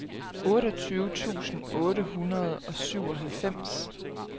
otteogtyve tusind otte hundrede og syvoghalvfems